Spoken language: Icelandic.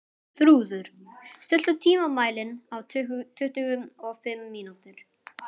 Þrúður, stilltu tímamælinn á tuttugu og fimm mínútur.